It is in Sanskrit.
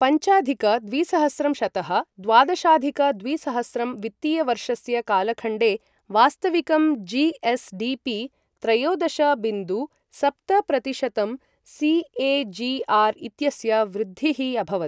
पञ्चाधिक द्विसहस्रं शतः द्वादशाधिक द्विसहस्रं वित्तीयवर्षस्य कालखण्डे वास्तविकं जी.एस.डी.पी. त्रयोदश बिन्दु सप्त प्रतिशतम् सी.ए.जी.आर्. इत्यस्य वृद्धिः अभवत्।